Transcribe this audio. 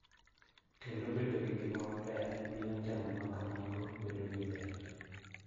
Kendo bedo gi ngima maber miyo temo ma kamago bedo gi ber.